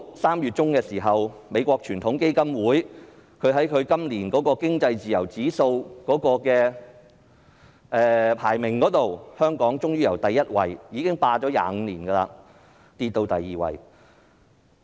3月中，美國傳統基金會發表年度經濟自由度指數，香港過去連續25年排名第一位，今年終於下跌至第二位。